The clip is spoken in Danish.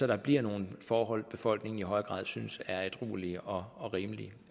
der bliver nogle forhold befolkningen i højere grad synes er ædruelige og og rimelige